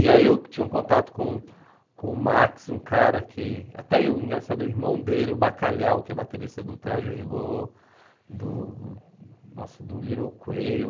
E aí eu tinha um contato com com o Max, um cara que... Até o engraçado irmão dele, o Bacalhau, que é baterista do Traje Rigor, do nossa do Little Quail.